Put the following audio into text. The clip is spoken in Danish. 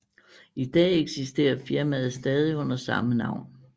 I dag eksisterer firmaet stadig under samme navn